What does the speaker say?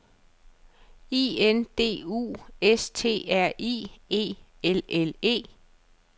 I N D U S T R I E L L E